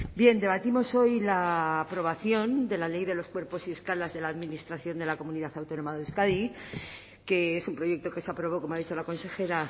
bien debatimos hoy la aprobación de la ley de los cuerpos y escalas de la administración de la comunidad autónoma de euskadi que es un proyecto que se aprobó como ha dicho la consejera